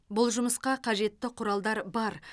бұл жұмысқа қажетті құралдар бар